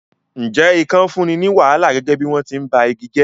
Ǹjẹ́ ikàn fúnni ní wàhálà gẹ́gẹ́ bí wọ́n ti ń ba igi jẹ́?